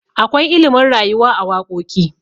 akwai ilimin rayuwa a wakoki